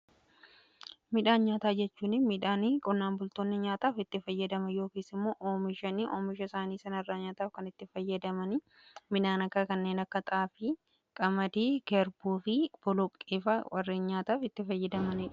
midhaan nyaataa jechuun midhaan qonnaan bultoonni nyaataaf itti fayyadaman yookiin immoo oomishan oomisha isaanii sana irraa nyaataaf kan itti fayyadaman Midhaan kanneen akka xaafii, qamadii, garbuu fi boloqqeefaa warreen nyaataaf itti fayyadamanidha.